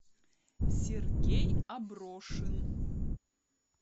сергей аброшин